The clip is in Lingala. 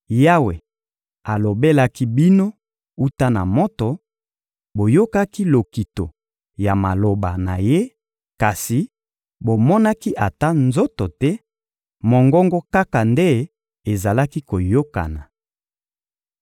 Yawe alobelaki bino wuta na moto; boyokaki lokito ya maloba na ye kasi bomonaki ata nzoto te; mongongo kaka nde ezalaki koyokana.